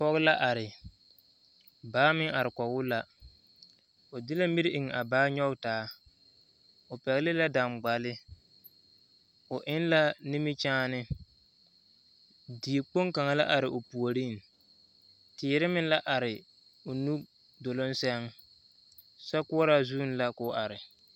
Pɔge la are dɔɔ meŋ are kɔge o la o de la miri eŋ a baa nyɔge taa o pɛgle la daŋgbale o eŋ la nimikyaani dikpoŋ kaŋa la are o puoriŋ teere meŋ la are o nu duluŋ sɛŋ sokoɔraa zuŋ la k'o are.